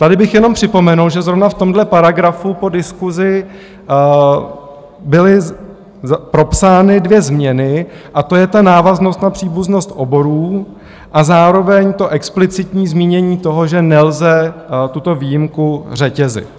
Tady bych jenom připomenul, že zrovna v tomhle paragrafu po diskusi byly propsány dvě změny, a to je ta návaznost na příbuznost oborů a zároveň to explicitní zmínění toho, že nelze tuto výjimku řetězit.